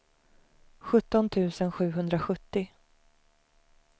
sjutton tusen sjuhundrasjuttio